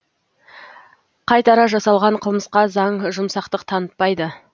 қайтара жасалған қылмысқа заң жұмсақтық танытпайды